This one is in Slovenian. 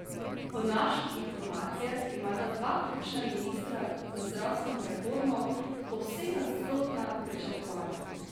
Po naših informacijah imata dva ključna ministra za zdravstveno reformo povsem nasprotna pričakovanja.